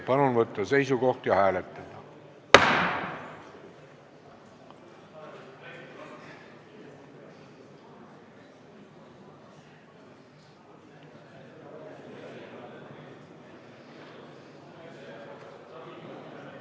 Palun võtta seisukoht ja hääletada!